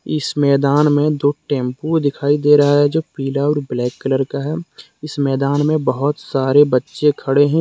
इस मैदान में दो टेंपो दिखाई दे रहा है जो पीला और ब्लैक कलर का है इस मैदान में बहुत सारे बच्चे खड़े हैं।